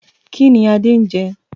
Kínní Adé ń jẹ?